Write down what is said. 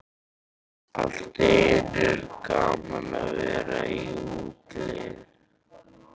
Allt í einu er gaman að vera í útlegð.